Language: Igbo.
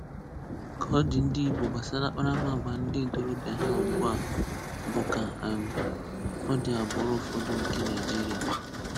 Ka ọ dị ndị Igbo gbasara àkpàràmàgwà ndị ntorobịa ha ugbu a bụ ka um ọ dị agbụrụ ụfọdụ nke Naịjiria.